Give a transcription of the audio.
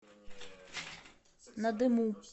надыму